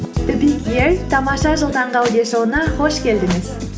тамаша жыл таңғы аудиошоуына қош келдіңіз